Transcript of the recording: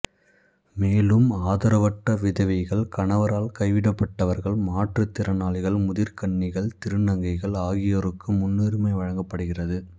மேலும் ஆதரவற்ற விதவைகள் கணவரால் கைவிடப்பட்டவர்கள் மாற்றுதிரனாளிகள் முதிர்கன்னிகள் திருநங்கைகள் ஆகியோருக்கு முன்னுரிமை வழங்கபடுகிறது